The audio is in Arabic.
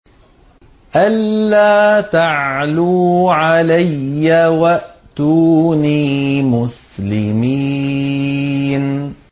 أَلَّا تَعْلُوا عَلَيَّ وَأْتُونِي مُسْلِمِينَ